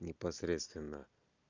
непосредственно